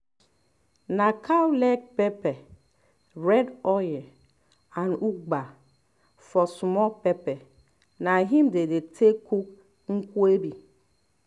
na cow leg pepper red oil and ugba for small pepper na im dey take dey cook nkwobi